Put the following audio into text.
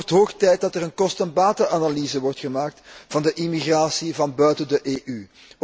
Het wordt hoog tijd dat er een kosten en batenanalyse wordt gemaakt van de immigratie van buiten de EU.